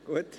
Gut